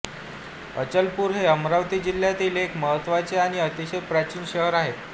अचलपूर हे अमरावती जिल्ह्यातील एक महत्त्वाचे आणि अतिशय प्राचीन शहर आहे